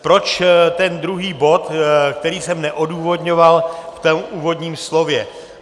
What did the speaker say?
Proč ten druhý bod, který jsem neodůvodňoval v tom úvodním slově.